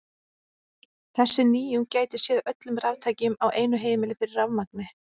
Þessi nýjung gæti séð öllum raftækjum á einu heimili fyrir rafmagni.